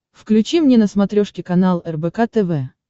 включи мне на смотрешке канал рбк тв